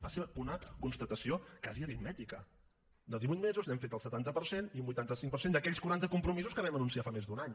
va ser una constatació quasi aritmètica de divuit mesos n’hem fet el setanta per cent i un vuitanta cinc per cent d’aquells quaranta compromisos que vam anunciar fa més d’un any